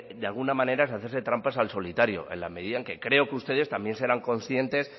de alguna manera es hacerse trampas al solitario en la medida en que creo que ustedes también serán conscientes